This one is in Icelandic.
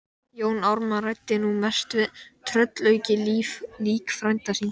Jón Ármann ræddi nú mest við tröllaukið lík frænda síns.